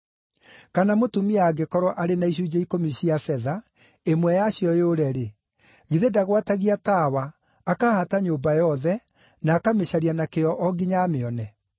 “Kana mũtumia angĩkorwo arĩ na icunjĩ ikũmi cia betha, ĩmwe yacio yũre-rĩ, githĩ ndagwatagia tawa, akahaata nyũmba yothe, na akamĩcaria na kĩyo o nginya amĩone?